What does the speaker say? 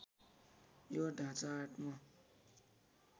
यो ढाँचा आत्म